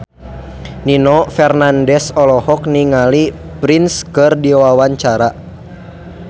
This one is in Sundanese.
Nino Fernandez olohok ningali Prince keur diwawancara